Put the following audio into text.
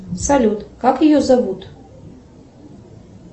салют как ее зовут